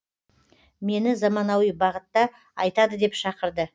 мені заманауи бағытта айтады деп шақырды